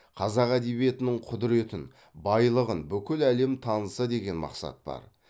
қазақ әдебиетінің құдыретін байлығын бүкіл әлем таныса деген мақсат бар